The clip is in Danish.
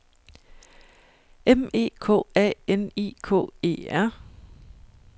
M E K A N I K E R